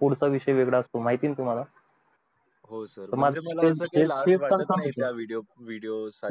पुढचा विषय वेगळा असतो माहिते ना तुम्हला